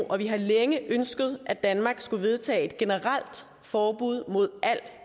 og vi har længe ønsket at danmark skulle vedtage et generelt forbud mod al